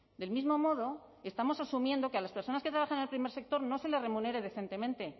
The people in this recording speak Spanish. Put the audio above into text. del mismo modo estamos asumiendo que a las personas que trabajan en el primer sector no se les remunere decentemente